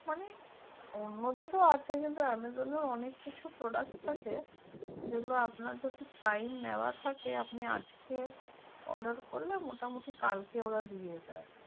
অন্য তেহু আছে কিন্তু amazon এ অনেক কিছু product থেকে যে গুলো আপনার যত time নেওয়া থেকে আপনি যদি আজ কে order করলে মোটামুটি কালকে দিয়ে দেয়